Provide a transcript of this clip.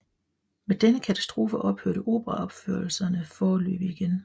Med denne katastrofe ophørte operaopførelserne foreløbig igen